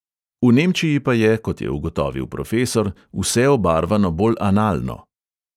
V nemčiji pa je, kot je ugotovil profesor, vse obarvano bolj analno.